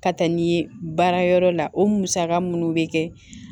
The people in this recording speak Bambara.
Ka taa ni ye baarayɔrɔ la o musaka munnu bɛ kɛ